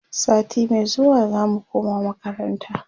sati Mai zuwa zamu koma makaranta